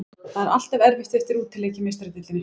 Það er alltaf erfitt eftir útileik í Meistaradeildinni.